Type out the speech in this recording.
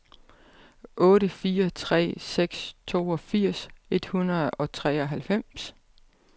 otte fire tre seks toogfirs et hundrede og treoghalvfems